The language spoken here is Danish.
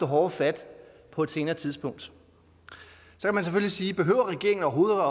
hårdere fat på et senere tidspunkt så kan man selvfølgelig sige behøver regeringen overhovedet